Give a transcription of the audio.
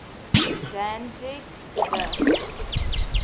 danzig gda